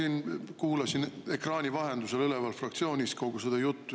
Ma kuulasin kogu seda juttu üleval fraktsioonis ekraani vahendusel.